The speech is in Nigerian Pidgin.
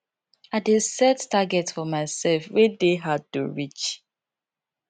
i dey set target for myself wey dey hard to reach